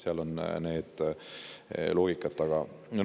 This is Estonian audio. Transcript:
Seal on see loogika taga.